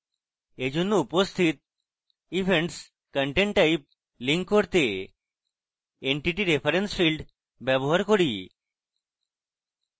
এইজন্য উপস্থিত events content type link করতে entity reference field ব্যবহার করি